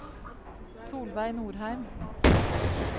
Solveig Nordheim